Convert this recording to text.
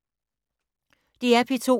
DR P2